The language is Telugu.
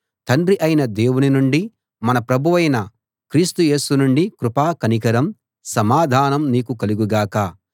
తండ్రి అయిన దేవుని నుండీ మన ప్రభువైన క్రీస్తు యేసు నుండీ కృప కనికరం సమాధానం నీకు కలుగు గాక